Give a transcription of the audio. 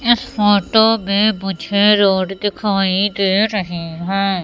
इस फोटो में मुझे रोड दिखाई दे रही है।